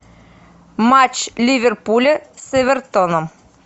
матч ливерпуля с эвертоном